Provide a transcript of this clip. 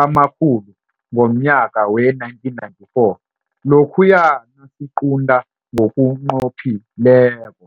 amakhulu ngomnyaka we-1994 lokhuya nasiqunta ngokunqophileko